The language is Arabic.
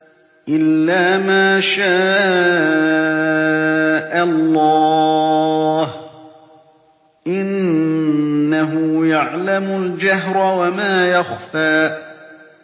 إِلَّا مَا شَاءَ اللَّهُ ۚ إِنَّهُ يَعْلَمُ الْجَهْرَ وَمَا يَخْفَىٰ